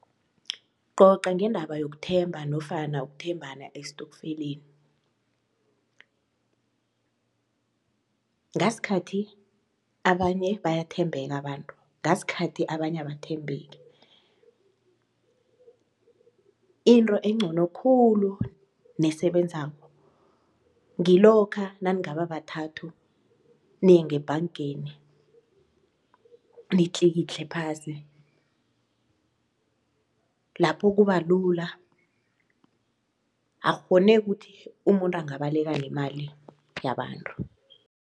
Coca ngendaba yokuthemba nofana ukuthembana estokfeleni. Ngaskhathi abanye bayathembeka abantu ngaskhathi abanye abathembeki. Into engcono khulu nesebenzako ngilokha naningaba bathathu niye ngebhangeni nitlikitle phasi lapho kubalula akukghoneki ukuthi umuntu angabaleka nemali yabantu.